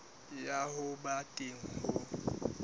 ya ho ba teng ho